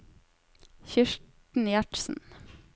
Kirsten Gjertsen